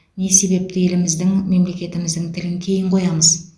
не себепті еліміздің мемлекетіміздің тілін кейін қоямыз